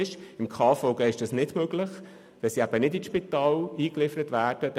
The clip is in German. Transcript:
Gemäss KVG ist das nicht üblich, da diese Personen nicht in ein Spital eingeliefert werden.